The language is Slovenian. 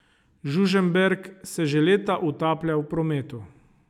Žužemberk se že leta utaplja v prometu.